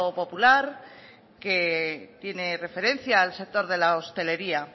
popular que tiene referencia al sector de la hostelería